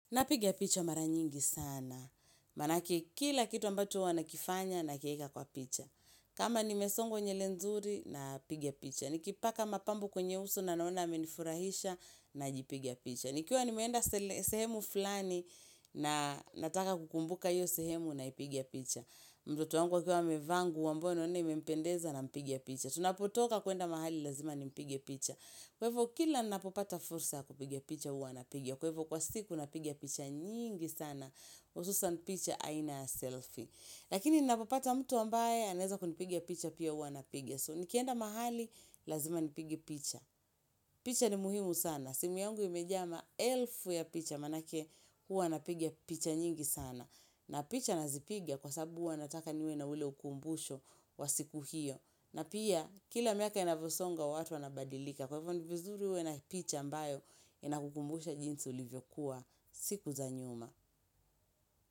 Napiga picha mara nyingi sana. Maanake kila kitu ambacho huwa nakifanya, nakieka kwa picha. Kama nimesongwa nywele nzuri, napiga picha. Nikipaka mapambo kwenye uso na naona yamenifurahisha, najipiga picha. Nikiwa nimeenda sehemu fulani, na nataka kukumbuka hiyo sehemu naipiga picha. Mtoto wangu akiwa amevaa nguo ambayo naona imempendeza nampiga picha. Tunapotoka kuenda mahali lazima nimpige picha. Kwa hivo kila nnapopata fursa ya kupiga picha huwa napiga. Kwa hivyo kwa siku napiga picha nyingi sana. Hususan picha aina ya selfie. Lakini nnapopata mtu ambaye anaeza kunipiga picha pia hua napiga, So nikienda mahali lazima nipige picha. Picha ni muhimu sana. Simu yangu imeja maelfu ya picha maanake huwa napiga picha nyingi sana na picha nazipiga kwa sababu huwa nataka niwe na ule ukumbusho wa siku hiyo. Na pia kila miaka inavyosonga watu wanabadilika. Kwa hivyo ni vizuri uwe na picha ambayo inakukumbusha jinsi ulivyokuwa siku za nyuma.